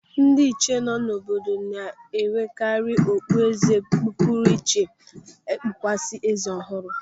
Ndị ịchie nọ n'obodo na-ewerekari okpu eze pụrụ iche kpukwasa eze ọhụrụ.